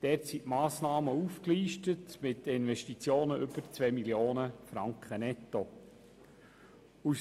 In diesem sind die Massnahmen mit Investitionen über 2 Mio. Franken netto aufgelistet.